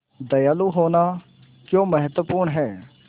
दयालु होना क्यों महत्वपूर्ण है